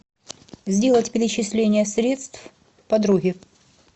сделать перечисление средств подруге